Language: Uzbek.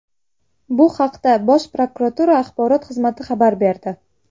Bu haqda Bosh prokuratura axborot xizmati xabar berdi .